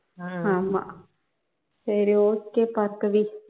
ஆமா சரி okay பார்கவி